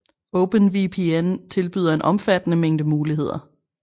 OpenVPN tilbyder en omfattende mængde muligheder